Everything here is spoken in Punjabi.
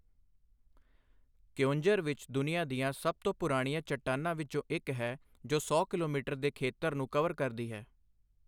ਕਿਓਂਝਰ ਵਿੱਚ ਦੁਨੀਆ ਦੀਆਂ ਸਭ ਤੋਂ ਪੁਰਾਣੀਆਂ ਚੱਟਾਨਾਂ ਵਿੱਚੋਂ ਇੱਕ ਹੈ, ਜੋ ਸੌ ਕਿਲੋਮੀਟਰ ਦੋ ਦੇ ਖੇਤਰ ਨੂੰ ਕਵਰ ਕਰਦੀ ਹੈ।